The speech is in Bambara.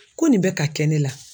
Ko nin bɛ ka kɛ ne la.